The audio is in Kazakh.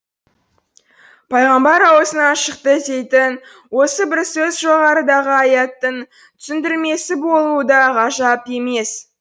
пайғамбар ауызынан шықты дейтін осы бір сөз жоғарыдағы аяттың түсіндірмесі болуы да ғажап емес